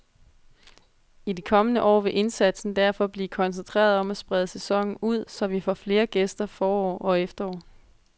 I de kommende år vil indsatsen derfor blive koncentreret om at sprede sæsonen ud, så vi får flere gæster forår og efterår.